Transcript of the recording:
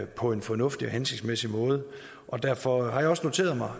på en fornuftig og hensigtsmæssig måde derfor har jeg også noteret mig